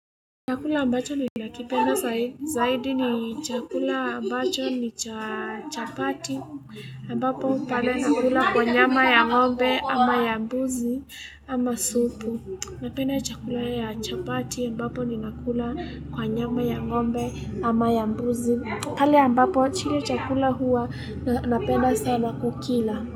Chakula ambacho ni nakipenda zaidi ni chakula ambacho ni cha chapati ambapo pale nakula kwa nyama ya ngombe ama ya mbuzi ama supu Napenda chakula ya chapati ambapo ni nakula kwa nyama ya ngombe ama ya mbuzi pale ambapo chile chakula huwa napenda sana kukila.